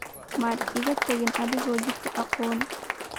maad iga tagin anigoo aan jidka aqoon